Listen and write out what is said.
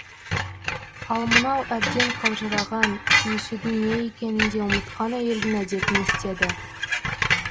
ал мынау әбден қалжыраған сүйісудің не екенін де ұмытқан әйелдің әдетін істеді